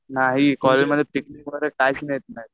नाही कॉलेजमध्ये नाहीत